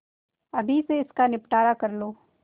अभी से इसका निपटारा कर लो